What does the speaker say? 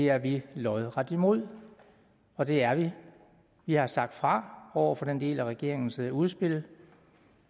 er vi lodret imod og det er vi vi har sagt fra over for den del af regeringens udspil